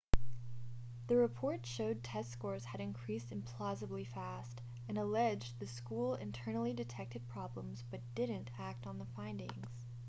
the report showed test scores had increased implausibly fast and alleged the school internally detected problems but didn't act on the findings